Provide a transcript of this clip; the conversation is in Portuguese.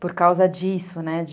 Por causa disso, né?